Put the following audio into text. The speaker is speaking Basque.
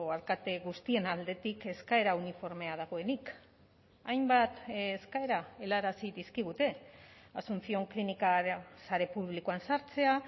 alkate guztien aldetik eskaera uniformea dagoenik hainbat eskaera helarazi dizkigute asunción klinika sare publikoan sartzea